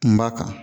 N b'a kan